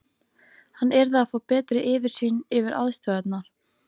Hann yrði að fá betri yfirsýn yfir aðstæðurnar.